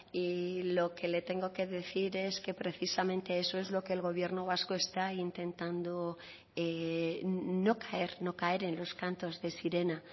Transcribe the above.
y lo que le tengo que decir es que precisamente eso es lo que el gobierno vasco está intentando no caer no caer en los cantos de sirena